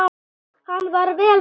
Hann var vel þurr.